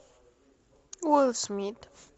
уилл смит